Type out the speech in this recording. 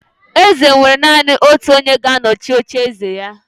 Eze nwere naanị otu onye ga-anọchi ocheeze ya